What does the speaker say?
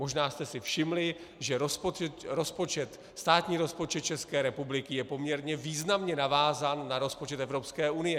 Možná jste si všimli, že státní rozpočet České republiky je poměrně významně navázán na rozpočet Evropské unie.